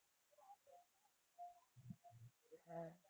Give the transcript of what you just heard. হ্যাঁ